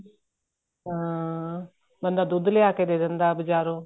ਹਾਂ ਬੰਦਾ ਦੁੱਧ ਲਿਆ ਕੇ ਦੇ ਦਿੰਦਾ ਬਜਾਰੋਂ